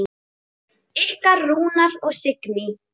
Ykkar Rúnar og Signý.